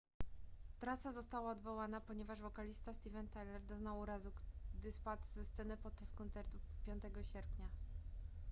trasa została odwołana ponieważ wokalista steven tyler doznał urazu gdy spadł ze sceny podczas koncertu 5 sierpnia